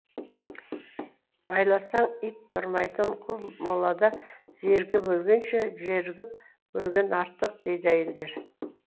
байласаң ит тұрмайтын қу молада зерігіп өлгенше жерігіп өлген артық дейді әйелдер